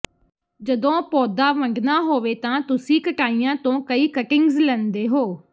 ਜਦੋਂ ਪੌਦਾ ਵੱਢਣਾ ਹੋਵੇ ਤਾਂ ਤੁਸੀਂ ਕਟਾਈਆਂ ਤੋਂ ਕਈ ਕਟਿੰਗਜ਼ ਲੈਂਦੇ ਹੋ